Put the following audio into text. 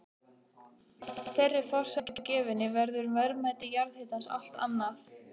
Að þeirri forsendu gefinni verður verðmæti jarðhitans allt annað.